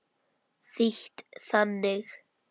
Þýtt þannig